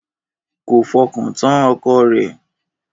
Kò fọkàntán ọkọ rẹ̀